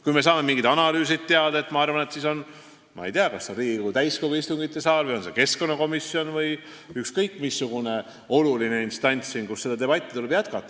Kui me saame mingite analüüside tulemused teada, siis ma arvan, et kas Riigikogu täiskogu istungisaalis, keskkonnakomisjonis või ükskõik missuguses olulises instantsis tuleb debatti jätkata.